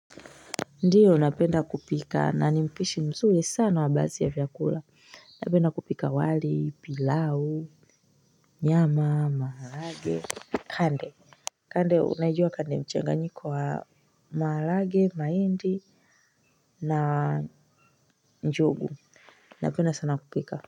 Ndiyo napenda kupika na ni mpishi mzuri sana wa basi ya chakula. Napenda kupika wali pilau nyama maalage kande. Kande unajua kande mchenga nyiko wa maalage maindi na njogu. Napenda sana kupika. Kwa hivyo.